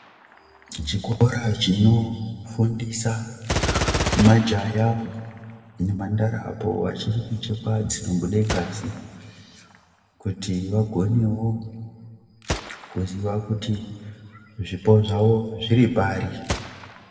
Chikora chinofundisa majaya nemhandara apo vachiri kuchekwa dzinobude ngazi kuti vagonewo kuziya kuti zvipo zvavo zviripari.